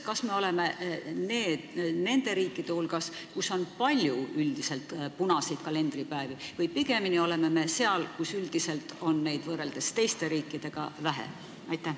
Kas me oleme nende riikide hulgas, kus on palju punaseid kalendripäevi, või pigem oleme seal, kus neid on teiste riikidega võrreldes vähem?